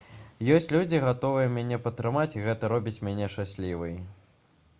ёсць людзі гатовыя мяне падтрымаць і гэта робіць мяне шчаслівай